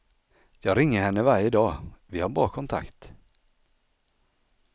Jag ringer henne varje dag, vi har bra kontakt.